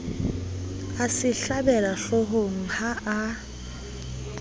a se hlabela hloohongha a